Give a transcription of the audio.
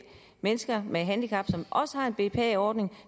mennesker med handicap som har en bpa ordning og